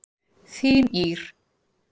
Þín Ýr.